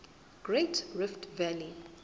great rift valley